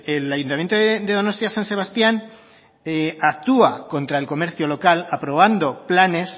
el ayuntamiento de donostia san sebastián actúa contra el comercio local aprobando planes